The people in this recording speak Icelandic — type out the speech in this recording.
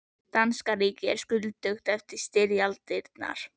Danska ríkið er skuldugt eftir styrjaldirnar.